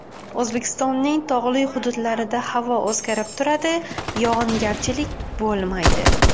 O‘zbekistonning tog‘li hududlarida havo o‘zgarib turadi, yog‘ingarchilik bo‘lmaydi.